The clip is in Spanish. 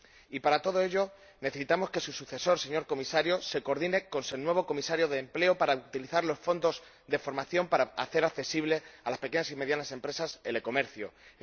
Y para todo ello necesitamos que su sucesor, señor Comisario, se coordine con el nuevo Comisario de Empleo para utilizar los fondos de formación a fin de hacer accesible a las pequeñas y medianas empresas el comercio electrónico